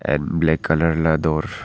and black colour वाला door --